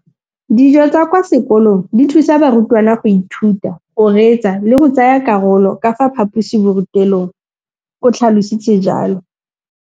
Dijo tsa kwa sekolong dithusa barutwana go ithuta, go reetsa le go tsaya karolo ka fa phaposiborutelong, o tlhalositse jalo.